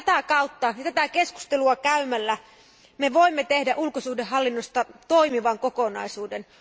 Vain tätä kautta ja tätä keskustelua käymällä me voimme tehdä ulkosuhdehallinnosta toimivan kokonaisuuden.